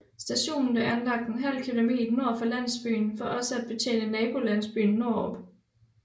Stationen blev anlagt ½ km nord for landsbyen for også at betjene nabolandsbyen Nordrup